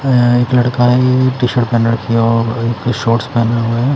अ एक लड़का है टी-शर्ट पहन रखी हैं और शॉर्ट्स पहने हुए है।